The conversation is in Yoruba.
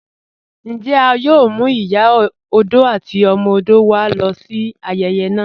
Njẹ́ à yòò mú Ìyà ọdọ̀ àti ọmọ ọdọ̀ wá lọ sí ayèyè naa?